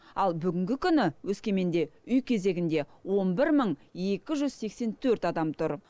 ал бүгінгі күні өскеменде үй кезегінде он бір мың екі жүз сексен төрт адам тұр